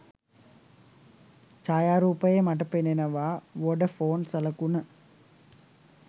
ඡායාරූපයේ මට පෙනෙනවා වොඩෆෝන් සලකුණ.